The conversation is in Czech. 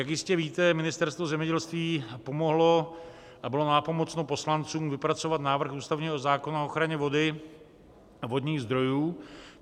Jak jistě víte, Ministerstvo zemědělství pomohlo a bylo nápomocno poslancům vypracovat návrh ústavního zákona o ochraně vody a vodních zdrojů.